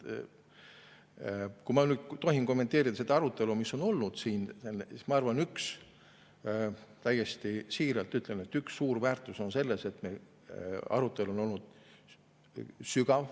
Kui ma tohin kommenteerida seda arutelu, mis on siin olnud, siis ma täiesti siiralt ütlen, et selle üks suur väärtus on selles, et meie arutelu on olnud sügav.